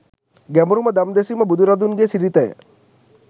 ගැඹුරුම දම් දෙසීම බුදු රදුන්ගේ සිරිතය.